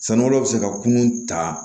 Sanubɔla bɛ se ka kunun ta